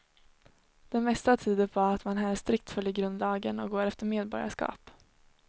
Det mesta tyder på att man här strikt följer grundlagen och går efter medborgarskap.